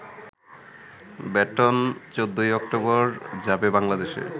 baton ১৪ই October যাবে বাংলাদেশে